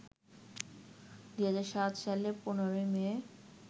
২০০৭ সালের ১৫ মে